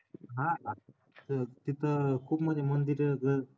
हा तिथं खूप म्हणजे मंदिर